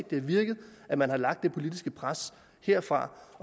det har virket at man har lagt det politiske pres herfra